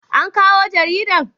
an kawo jaridan??